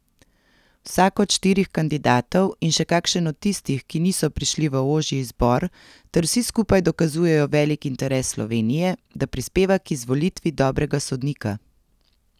Vsak od štirih kandidatov in še kakšen od tistih, ki niso prišli v ožji izbor ter vsi skupaj dokazujejo velik interes Slovenije, da prispeva k izvolitvi dobrega sodnika.